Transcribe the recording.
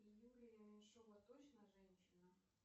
юлия меньшова точно женщина